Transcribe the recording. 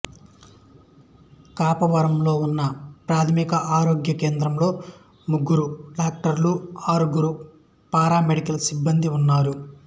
కాపవరంలో ఉన్న ఒకప్రాథమిక ఆరోగ్య కేంద్రంలో ముగ్గురు డాక్టర్లు ఆరుగురు పారామెడికల్ సిబ్బందీ ఉన్నారు